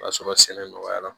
O y'a sɔrɔ sɛnɛ nɔgɔyara